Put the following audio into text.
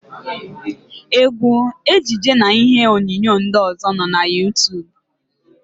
Égwú, ejije na ihe onyonyo ndị ọ̀zọ́ nọ na Yuutub.